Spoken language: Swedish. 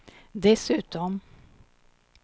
dessutom